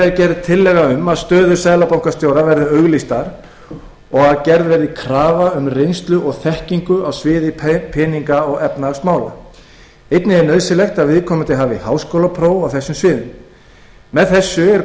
er tillaga um að stöður seðlabankastjóra verði auglýstar og að gerð verði krafa um reynslu og þekkingu á sviði peninga og efnahagsmála einnig er nauðsynlegt að viðkomandi hafi háskólapróf á þessum sviðum með þessu er